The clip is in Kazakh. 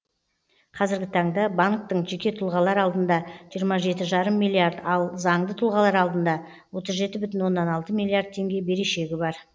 қазіргі таңда банктың жеке тұлғалар алдында жиырма жеті бүтін оннан бес миллиард ал заңды тұлғалар алдында отыз жеті бүтін оннан алты миллиард теңге берешегі бар